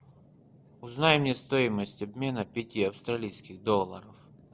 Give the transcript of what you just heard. узнай мне стоимость обмена пяти австралийских долларов